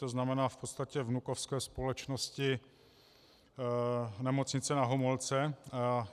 To znamená v podstatě vnukovské společnosti Nemocnice Na Homolce.